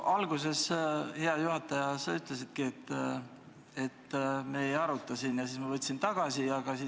Alguses, hea juhataja, sa ütlesidki, et me ei aruta seda teemat, ja siis ma võtsin oma sõnavõtusoovi tagasi.